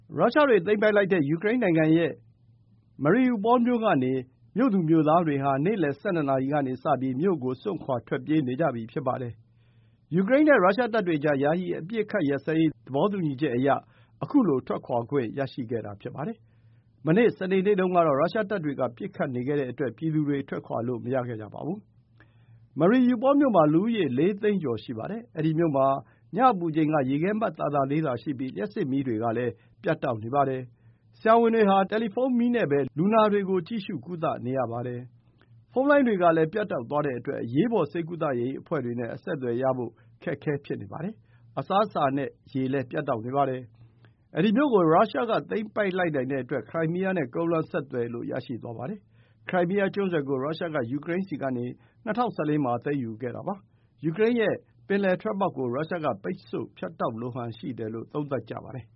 ရုရှားတွေ သိမ်းပိုက်လိုက်တဲ့ Mariupol မြို့ကနေ မြို့သူမြို့သားတွေဟာ နေ့လယ် ၁၂ နာရီကစပြီး မြို့ကို စွန့်ခွာ ထွက်ပြေးနေကြပြီ ဖြစ်ပါတယ်။ ယူကရိန်းနဲ့ ရုရှားတပ်တွေကြား ယာယီ အပစ်အခတ်ရပ်စဲရေး သဘောတူညီချက်အရ ခုလို ထွက်ခွာခွင့်ရရှိတာ ဖြစ်ပါတယ်။ မနေ့ စနေနေ့တုန်းကတော့ ရုရှားတပ်တွေက ပစ်ခတ်နေခဲ့တဲ့အတွက် ပြည်သူတွေ ထွက်ခွာလို့ မရခဲ့ကြပါဘူး။ Mariupol မြို့မှာ လူဦးရေ ၄ သိန်းကျော် ရှိပါတယ်။ အဲဒီမြို့မှာ ညအပူချိန်က ရေခဲမှတ် သာသာလေးသာ ရှိပြီး လျှပ်စစ်မီးတွေလည်း ပြတ်နေပါတယ်။ ဆရာဝန်တွေဟာ တယ်လီဖုန်းမီးနဲ့ပဲ လူနာတွေကို ကြည့်ရှု ကုသနေရပါတယ်။ ဖုန်းလိုင်းတွေလည်း ပြတ်တောက်သွားတဲ့အတွက် အရေးပေါ် ဆေးကုသရေး အဖွဲ့တွေနဲ့ အဆက်အသွယ် ရဖို့လည်း ခက်ခဲနေကြပါတယ်။ အစားအစာနဲ့ ရေလည်း ပြတ်တောက်နေပါတယ်။ ဒီမြို့ကို ရုရှားက သိမ်းပိုက်လိုက်နိုင်တဲ့အတွက် ခရိုင်းမီးယားနဲ့ ကုန်းလမ်းဆက်သွယ်လို့ ရရှိသွားပါတယ်။ ခရိုင်းမီးယားကျွန်းဆွယ်ကို ရုရှားက ယူကရိန်းဆီကနေ ၂၀၁၄ မှာ သိမ်းယူခဲ့တာပါ။ ယူကရိန်းရဲ့ ပင်လယ်ထွက်ပေါက်ကို ရုရှားက ပိတ်ဆို့ ဖြတ်တောက်လိုဟန် ရှိတယ်လို့ သုံးသပ်ကြပါတယ်